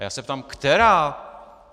A já se ptám která?